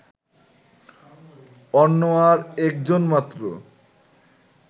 অন্য আর একজন মাত্র